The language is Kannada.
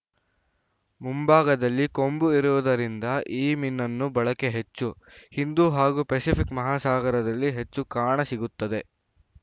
ಮುಂಭಾಗದಲ್ಲಿ ಕೊಂಬು ಇರುವುದರಿಂದ ಈ ಮೀನನ್ನು ಬಳಕೆ ಹೆಚ್ಚು ಹಿಂದೂ ಹಾಗೂ ಫೆಸಿಫಿಕ್‌ ಮಹಾಸಾಗರದಲ್ಲಿ ಹೆಚ್ಚು ಕಾಣಸಿಗುತ್ತದೆ